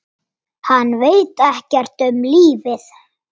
Hann veit ekkert um lífið.